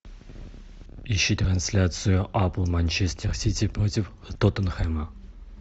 ищи трансляцию апл манчестер сити против тоттенхэма